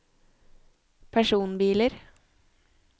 personbiler